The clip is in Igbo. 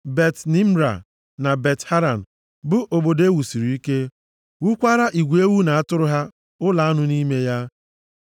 Bet-Nimra na Bet-Haran bụ obodo e wusiri ike, wukwaara igwe ewu na atụrụ ha ụlọ anụ nʼime ya.